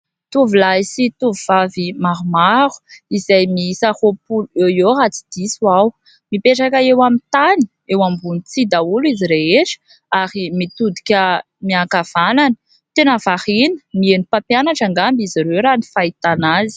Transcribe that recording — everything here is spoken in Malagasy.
Tovolahy sy tovovavy maromaro izay mihisa roapolo eo eo raha tsy diso aho, mipetraka eo amin'ny tany eo ambony tsihy daholo izy rehetra ary mitodika miankavanana, tena variana, miheno mpampianatra ngamba izy ireo raha ny fahitana azy.